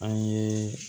An ye